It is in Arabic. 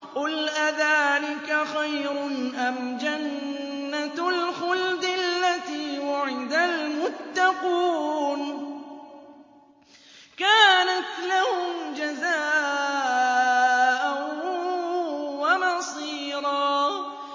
قُلْ أَذَٰلِكَ خَيْرٌ أَمْ جَنَّةُ الْخُلْدِ الَّتِي وُعِدَ الْمُتَّقُونَ ۚ كَانَتْ لَهُمْ جَزَاءً وَمَصِيرًا